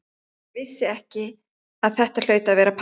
Ég vissi að þetta hlaut að vera pabbi.